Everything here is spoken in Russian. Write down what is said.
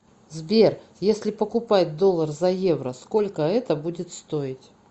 сбер если покупать доллар за евро сколько это будет стоить